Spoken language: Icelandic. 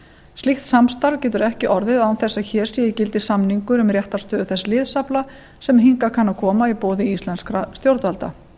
slíkt samstarf getur ekki orðið án þess að hér sé í gildi samningur um réttarstöðu þess liðsafla sem hingað kann að koma í boði íslenskra stjórnvalda